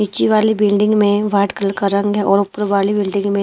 नीचे वाली बिल्डिंग में वाइट कलर का रंग है और ऊपर वाली बिल्डिंग में --